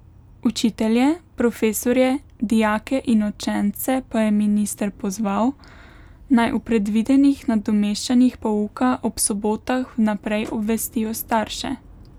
Učitelje, profesorje, dijake in učence pa je minister pozval, naj o predvidenih nadomeščanjih pouka ob sobotah vnaprej obvestijo starše.